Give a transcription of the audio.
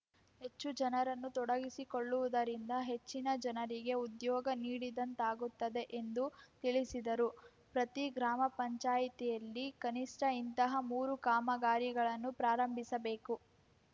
ಹೆಚ್ಚು ಜನರನ್ನು ತೊಡಗಿಸಿಕೊಳ್ಳುವುದರಿಂದ ಹೆಚ್ಚಿನ ಜನರಿಗೆ ಉದ್ಯೋಗ ನೀಡಿದಂತಾಗುತ್ತದೆ ಎಂದು ತಿಳಿಸಿದರು ಪ್ರತಿ ಗ್ರಾಮ ಪಂಚಾಯ್ತಿಯಲ್ಲಿ ಕನಿಷ್ಠ ಇಂತಹ ಮೂರು ಕಾಮಗಾರಿಗಳನ್ನು ಪ್ರಾರಂಭಿಸಬೇಕು